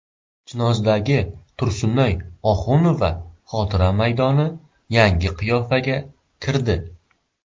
Chinozdagi Tursunoy Oxunova xotira maydoni yangi qiyofaga kirdi .